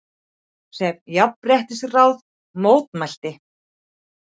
sem Jafnréttisráð mótmælti.